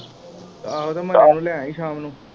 ਆਹੋ ਤੇ ਮੰਨੇ ਨੂੰ ਲੈ ਆਈ ਸ਼ਾਮ ਨੂੰ।